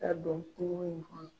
Ka don kungo in kɔnɔ.